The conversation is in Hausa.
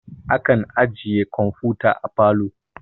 Akan ajiye kamfuta a parlor